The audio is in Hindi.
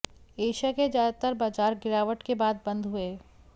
एशिया के ज्यादातर बाजार गिरावट के बाद बंद हुए